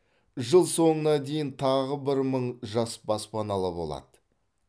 жыл соңына дейін тағы бір мың жас баспаналы болады